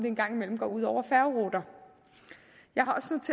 en gang imellem går ud over færgeruter jeg